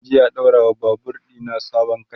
zanje a ɗaura wa Babur ɗina sabon katcha